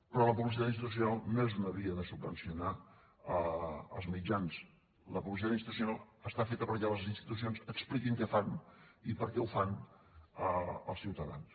però la publicitat institucional no és una via de subvencionar els mitjans la publicitat institucional està feta perquè les institucions expliquin què fan i per què ho fan als ciutadans